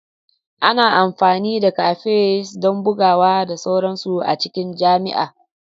Ana amfani da cafes don bugawa da sauransu a cikin jami'a.